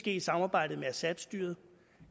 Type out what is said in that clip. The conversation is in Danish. i samarbejde med assadstyret